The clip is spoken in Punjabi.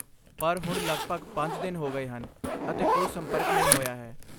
ਪਰ ਹੁਣ ਲਗਭਗ ਪੰਜ ਦਿਨ ਹੋ ਗਏ ਹਨ ਅਤੇ ਕੋਈ ਸੰਪਰਕ ਨਹੀਂ ਹੋਇਆ ਹੈ।